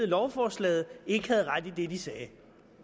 lovforslaget ikke havde ret i det de sagde